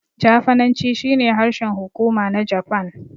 Jafananci shine harshen hukuma na Japan.